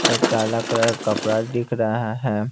एक काला कलर का कपडा देख रहा है।